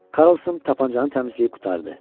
Karlson tapançanı təmizləyib qurtardı.